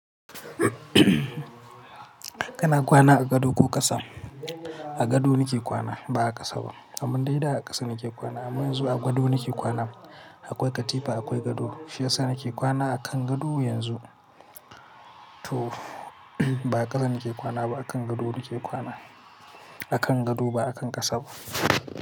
Kana kwana a gado ko ƙasa? A gado nake kwana ba a ƙasa ba, amun dai da a ƙasa nake kwana. Amma yanzu a gado nake kwana. Akwai katifa akwai gado, shi yasa nake kwana a kan gado yanzu. To ba a ƙasa nake kwana ba a kan gado nake kwana. A kan gado ba a kan ƙasa ba.